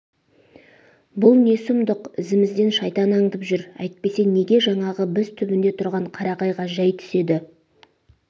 бұл не сұмдық ізімізден шайтан аңдып жүр әйтпесе неге жаңағы біз түбінде тұрған қарағайға жай түседі